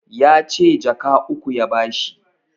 Yace jaka uku ya ba shi